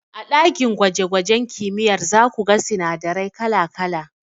A ɗakin gwaje gwajen kimiyyar zaku ga sinadarai kala kala.